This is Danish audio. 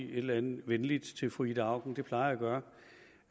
et eller andet venligt til fru ida auken det plejer